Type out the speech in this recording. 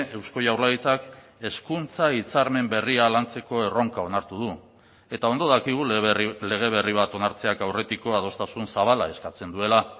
eusko jaurlaritzak hezkuntza hitzarmen berria lantzeko erronka onartu du eta ondo dakigu lege berri bat onartzeak aurretiko adostasun zabala eskatzen duela